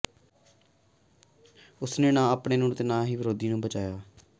ਉਸ ਨੇ ਨਾ ਆਪਣੇ ਆਪ ਨੂੰ ਤੇ ਨਾ ਹੀ ਵਿਰੋਧੀ ਨੂੰ ਬਚਾਇਆ